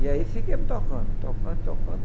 E aí fiquemos tocando, tocando, tocando.